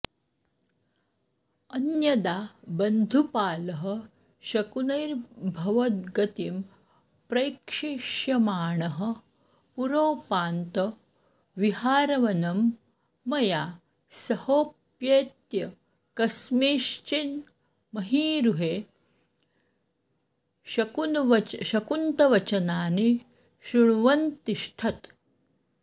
अन्यदा बन्धुपालः शकुनैर्भवद्गतिं प्रैक्षिष्यमाणः पुरोपान्तविहारवनं मया सहोपेत्य कस्मिंश्चिन्महीरुहे शकुन्तवचनानि शृण्वन्नतिष्ठत्